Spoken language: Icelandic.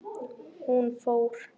Hún fór.